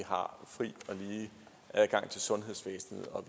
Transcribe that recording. har fri og lige adgang til sundhedsvæsenet og